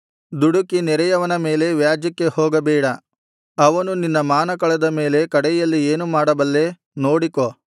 ದುಡುಕಿ ನೆರೆಯವನ ಮೇಲೆ ವ್ಯಾಜ್ಯಕ್ಕೆ ಹೋಗಬೇಡ ಅವನು ನಿನ್ನ ಮಾನ ಕಳೆದ ಮೇಲೆ ಕಡೆಯಲ್ಲಿ ಏನು ಮಾಡಬಲ್ಲೆ ನೋಡಿಕೋ